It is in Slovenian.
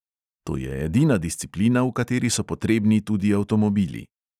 To je edina disciplina, v kateri so potrebni tudi avtomobili.